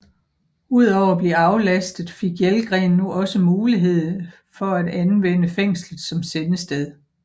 Ud over at blive aflastet fik Jelgren nu også mulighed fra at anvendte fængslet som sendested